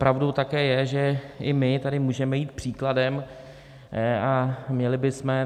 Pravdou také je, že i my tady můžeme jít příkladem, a měli bychom.